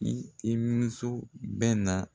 I i so bɛ na